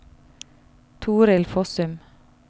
Torild Fossum